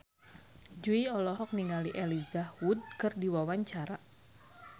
Jui olohok ningali Elijah Wood keur diwawancara